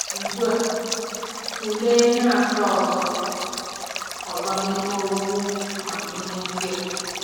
Ugbu a, tụlee ihe asaa ọzọ ọzọ n'ime okwu amamihe ndị a.